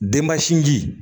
Denba sinji